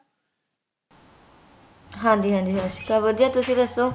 ਹਾਂਜੀ ਹਾਂਜੀ ਸਤਿ ਸ਼੍ਰੀ ਅਕਾਲ ਵਧੀਆ ਤੁਸੀਂ ਦੱਸੋ